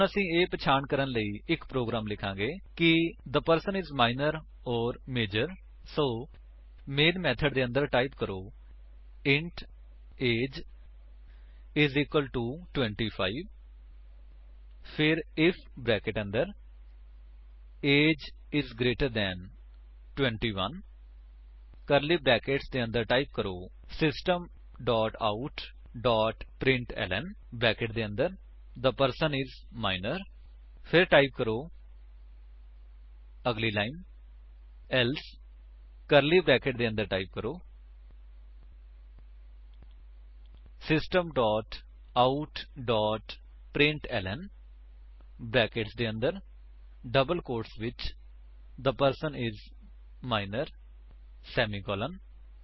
ਹੁਣ ਅਸੀ ਇਹ ਪਹਿਚਾਣ ਕਰਨ ਲਈ ਇੱਕ ਪ੍ਰੋਗਰਾਮ ਲਿਖਾਂਗੇ ਕਿ the person is minor or major so main method ਦੇ ਅੰਦਰ ਟਾਈਪ ਕਰੋ160 int age is equal to 25 ਫਿਰ ਆਈਐਫ ਬਰੈਕੇਟ ਦੇ ਅੰਦਰ age is greater than 21 curly brackets ਦੇ ਅੰਦਰ ਟਾਈਪ ਕਰੋ system dot out dot println bracket ਦੇ ਅੰਦਰ ਥੇ ਪਰਸਨ ਆਈਐਸ ਮਜੋਰ ਫਿਰ ਟਾਈਪ ਕਰੋ ਅਗਲੀ ਲਾਈਨ ਏਲਸੇ ਕਰਲੀ ਬਰੈਕੇਟਸ ਦੇ ਅੰਦਰ ਟਾਈਪ ਕਰੋ system dot out dot println brackets ਦੇ ਅੰਦਰ ਡਬਲ ਕੋਟਸ ਵਿੱਚ the person is minor semicolon